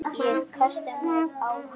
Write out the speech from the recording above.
Og kasta mér á hana.